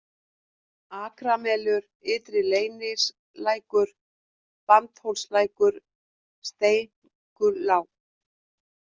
Akramelur, Ytri-Leyningslækur, Bandhólslækur, Steinkulág